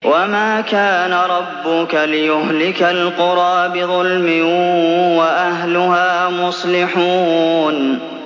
وَمَا كَانَ رَبُّكَ لِيُهْلِكَ الْقُرَىٰ بِظُلْمٍ وَأَهْلُهَا مُصْلِحُونَ